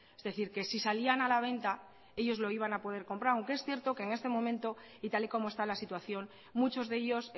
es decir que si salían a la venta ellos lo iban a poder comprar aunque es cierto que en este momento y tal y como está la situación muchos de ellos